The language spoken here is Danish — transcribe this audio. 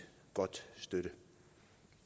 godt støtte